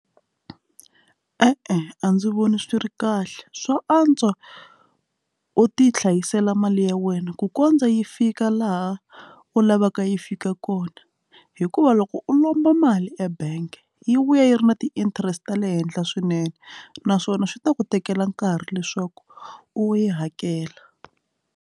E-e, a ndzi voni swi ri kahle swa antswa u ti hlayisela mali ya wena ku kondza yi fika laha u lavaka yi fika kona hikuva loko u lomba mali ebank yi vuya yi ri na ti-interest ta le henhla swinene naswona swi ta ku tekela nkarhi leswaku u yi hakela.